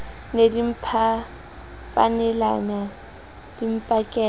ne di mphapanelana di mpakela